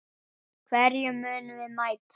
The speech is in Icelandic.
Hverjum munum við mæta??